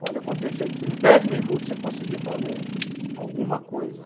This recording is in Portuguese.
Pode acontecer de em dez minutos você conseguir fazer alguma coisa.